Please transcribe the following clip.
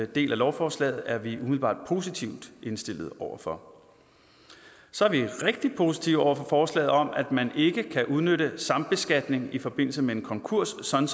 del af lovforslaget er vi umiddelbart positivt indstillet over for så er vi rigtig positive over for forslaget om at man ikke kan udnytte sambeskatning i forbindelse med en konkurs sådan